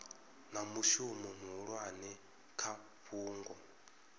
na mushumo muhulwane kha fhungo